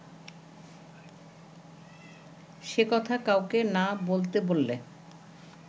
সে কথা কাউকে না বলতে বললে